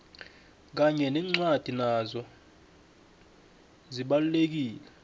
kanye nencwadi nazo zibalulekile